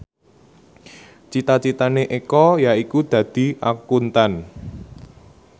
cita citane Eko yaiku dadi Akuntan